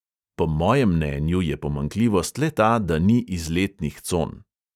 Po mojem mnenju je pomanjkljivost le ta, da ni izletnih con.